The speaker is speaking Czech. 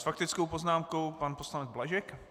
S faktickou poznámkou pan poslanec Blažek.